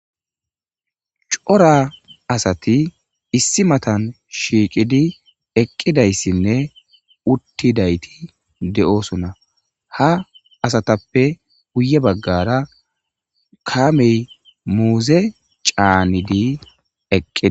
C'ora asati issi matan shiqidi eqidaysine utidayti de'osona ha asatape guye bagara kamey muzey c'anidi eqides.